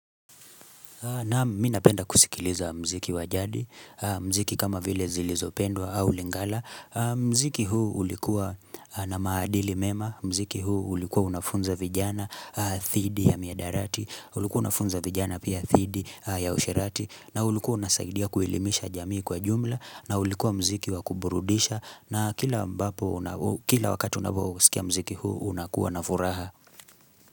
Nam ninapenda kusikiliza muziki wa jadi, muziki kama vile zilizopendwa au lingala, muziki huu ulikuwa na maadili mema, muziki huu ulikuwa unafunza vijana, dhidi ya mihadarati, ulikuwa unafunza vijana pia dhidi ya usherati, na ulikuwa unasaidia kuelimisha jamii kwa jumla, na ulikuwa muziki wakuburudisha, na kila ambapo kila wakati unapo usikia muziki huu unakuwa na furaha.